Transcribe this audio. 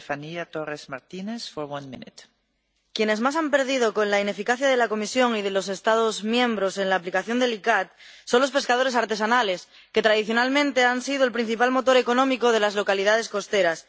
Señora presidenta, quienes más han perdido con la ineficacia de la Comisión y de los Estados miembros en la aplicación del Convenio de la CICAA son los pescadores artesanales que, tradicionalmente, han sido el principal motor económico de las localidades costeras.